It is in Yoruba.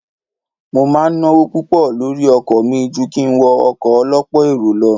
Mo máa ń náwó púpọ̀ lórí ọkọ̀ mi ju kí n wọ ọkọ̀ ọ lọ́pọ̀ èrò.